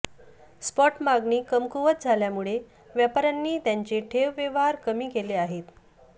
spot मागणी कमकुवत झाल्यामुळे व्यापाऱ्यांनी त्यांचे ठेव व्यवहार कमी केले आहेत